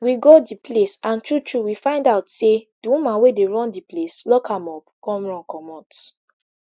we go di place and true true we find out say di woman wey dey run di place lock am up come run comot